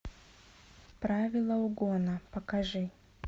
правила угона покажи